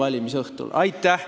Aitäh!